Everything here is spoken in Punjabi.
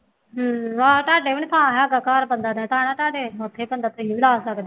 ਹੂੰ ਹਾਂ ਤੁਹਾਡੇ ਵੀ ਨਹੀਂ ਥਾਂ ਹੈਗਾ, ਘਰ ਬਣਦਾ ਤਾਂ ਪਿਆ ਤੁਹਾਡੇ, ਉੱਥੇ ਪਿੰਡ ਫੇਰ ਅਸੀਂ ਨਹੀਂ ਲਾ ਸਕਦੇ,